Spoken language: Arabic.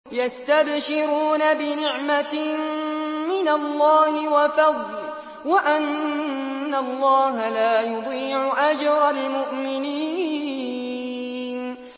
۞ يَسْتَبْشِرُونَ بِنِعْمَةٍ مِّنَ اللَّهِ وَفَضْلٍ وَأَنَّ اللَّهَ لَا يُضِيعُ أَجْرَ الْمُؤْمِنِينَ